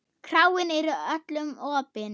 Kráin er öllum opin.